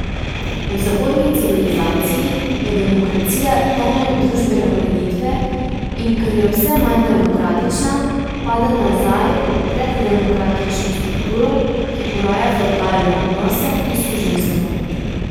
V zahodni civilizaciji je demokracija temelj družbene ureditve, in ker je vse manj demokratična, pada nazaj v preddemokratično strukturo, ki poraja fevdalne odnose in suženjstvo.